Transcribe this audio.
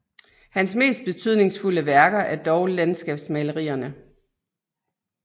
Hans mest betydningsfulde værker er dog landskabsmalerierne